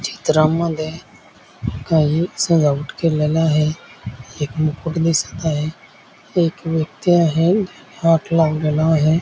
चित्रामध्ये काही सजावट केलेला आहे एक मुकुट दिसत आहे एक व्यक्ती आहे हाथ लावलेला आहे.